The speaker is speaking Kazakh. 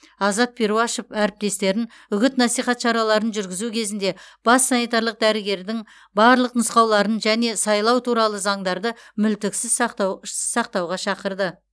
азат перуашев әріптестерін үгіт насихат шараларын жүргізу кезінде бас санитарлық дәрігердің барлық нұсқауларын және сайлау туралы заңдарды мүлтіксіз сақтауға шақырды